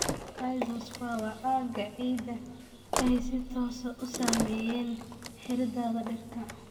Rhizosphere waa aagga ciidda ay si toos ah u saameeyeen xididdada dhirta.